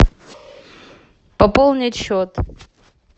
пополнить счет